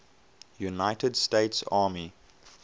united states army